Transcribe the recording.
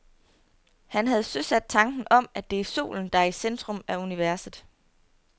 Han havde søsat tanken om, at det er solen, der er i centrum af universet.